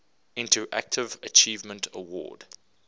interactive achievement award